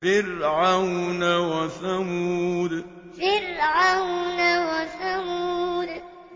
فِرْعَوْنَ وَثَمُودَ فِرْعَوْنَ وَثَمُودَ